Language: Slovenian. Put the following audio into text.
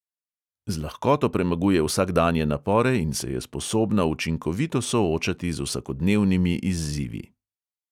Z lahkoto premaguje vsakdanje napore in se je sposobna učinkovito soočati z vsakodnevnimi izzivi.